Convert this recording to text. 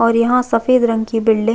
और यहाँ सफ़ेद रंग की बिल्डिंग --